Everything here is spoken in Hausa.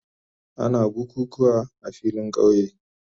Ana bukukuwa a filin kauye.